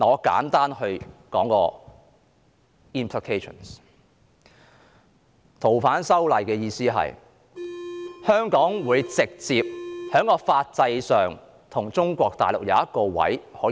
修訂《逃犯條例》的含意是，在法制上直接給予香港一個被中國大陸介入的位置。